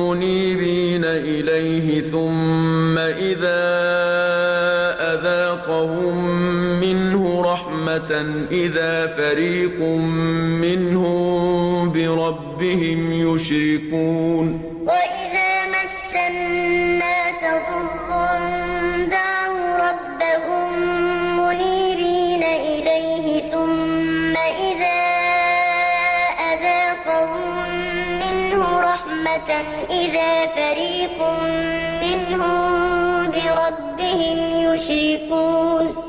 مُّنِيبِينَ إِلَيْهِ ثُمَّ إِذَا أَذَاقَهُم مِّنْهُ رَحْمَةً إِذَا فَرِيقٌ مِّنْهُم بِرَبِّهِمْ يُشْرِكُونَ وَإِذَا مَسَّ النَّاسَ ضُرٌّ دَعَوْا رَبَّهُم مُّنِيبِينَ إِلَيْهِ ثُمَّ إِذَا أَذَاقَهُم مِّنْهُ رَحْمَةً إِذَا فَرِيقٌ مِّنْهُم بِرَبِّهِمْ يُشْرِكُونَ